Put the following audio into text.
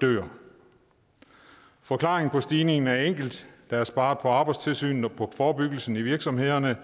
dør forklaringen på stigningen er enkel der er sparet på arbejdstilsynet og på forebyggelsen i virksomhederne